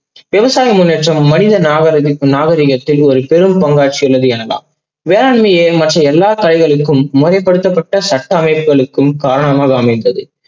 விவசாய முன்னேற்றம் மனித நாகரீக~நாகரீகத்தில் ஒரு பெரிய பங்காற்றியது என்னலா வேளாண்மையே மற்றும் எல்லா கலைகளுக்கும் மொழி படுத்தப்பட்ட சட்ட அவைகளுக்கும் காரணமாக அமைந்தது.